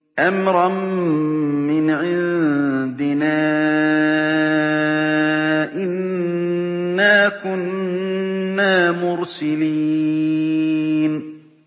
أَمْرًا مِّنْ عِندِنَا ۚ إِنَّا كُنَّا مُرْسِلِينَ